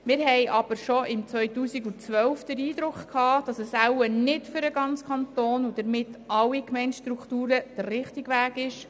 Wir hatten aber bereits im Jahr 2012 den Eindruck, dass es möglicherweise nicht für den ganzen Kanton und damit auch nicht für alle Gemeindestrukturen der richtige Weg ist.